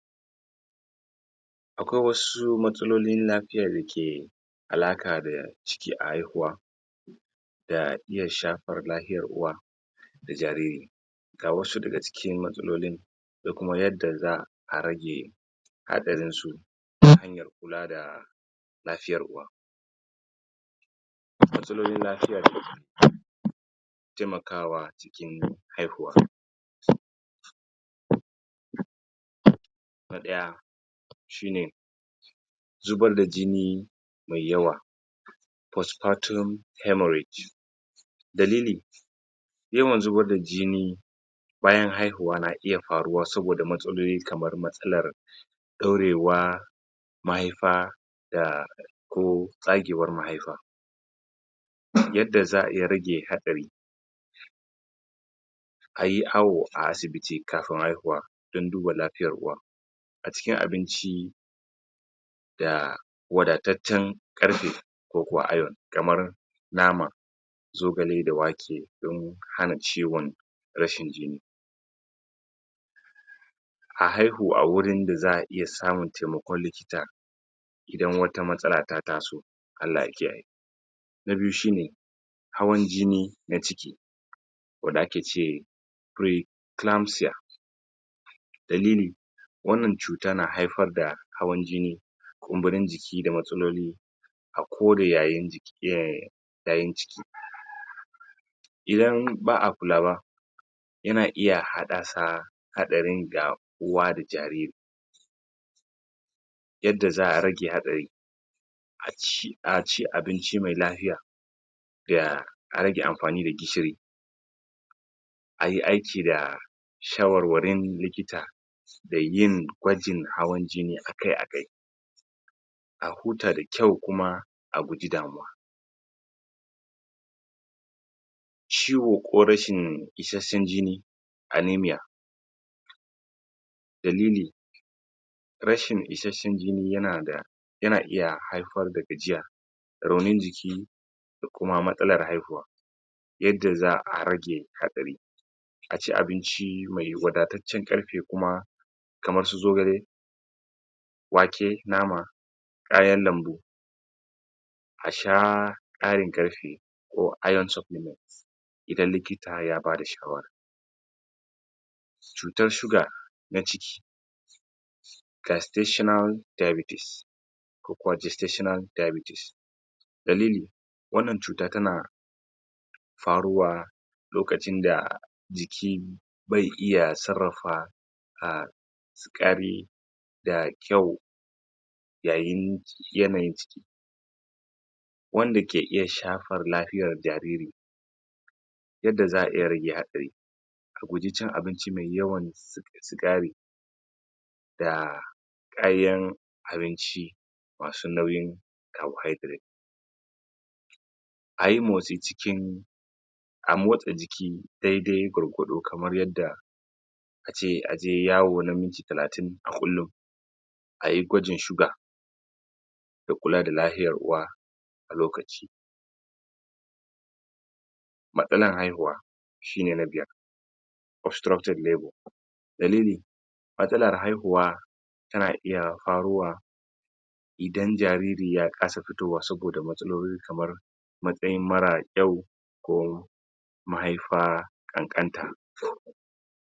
Akwai wasu matsalolin lafiya ke alaƙa da ciki a haihuwa ka iya shafar lafiyar uwa da jariri ga wasu daga cikin matsalolin da kuma yadda za'a rage haɗarin su ta hanyar kula da lafiyar uwa matsalolin lafiyar ke taimakawa haihuwa na ɗaya shi ne zubar da jini mai yawa postpartum haemorrhage dalili yawan zubar da jini bayan haihuwa na iya faruwa saboda matsaloli kamar matsalar ɗaurewar mahaifa da ko tsagewar mahaifa yadda za'a iya rage haɗari ayi awo a asibiti kafin haihuwa dan duba lafiyar uwa a cikin abinci da wadataccen ƙarfi ko kuwa iron kamar nama zogale da wake dan hana ciwon rashin jini a haihu a wurin da za'a iya samun taimakon likita idan wata matsala ta taso Allah ya kiyaye na biyu shi ne hawan jini na ciki wanda ake ce preclamsia dalili wannan cuta na haifar da hawan jini kumburin jiki da matsaloli a kore ƴaƴan ciki idan ba'a kulawa yana iya haddasa haɗari ga uwa da jariri yadda za'a rage haɗari a ci, a ci abinci me lafiya da har da amfani da gishiri a yi aiki da shawarwarin likita da yin gwajin hawan jini akai-akai a huta da kyau kuma a guji damuwa ciwo ko rashin isashen jini aneamia dalili rashin isashen jini yana da yana iya haifar da gajiya raunin jiki da kuma matsalar haihuwa yadda za'a rage haɗari a ci abinci me wadataccen ƙarfi kuma kamar su zogale wake, nama kayan lambu a sha ƙarin ƙarfi ko iron supplement idan likita ya bada shawara cutar shuga na ciki testational diabetes ko kuwa a ce stational diabetes dalili wannan cuta tana faruwa lokacin da jiki bai iya sarrafa ah, ƙari ga kyau yayin yanayi wanda ke iya shafar lafiyar jariri yadda za'a iya rage haɗari ka guji cin abinci me yawan sigari da kayan abinci masu nauyin carbohydrate a yi motsi cikin a motsa jiki dai-dai gwargwado kamar yadda a ce aje yawo na minti talatin a kullun a yi gwajin shuga da kula da lafiyan ruwa da lokaci matsalar haihuwa shi ne na biyar obstructed view dalili matsalar haihuwa tana iya faruwa idan jariri ya kasa fitowa saboda matsaloli kamar matsayin mara kyau ko mahaifa ƙanƙanta,